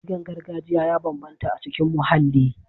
Ƙirgen gargajiya ya bambanta a cikin muhalli.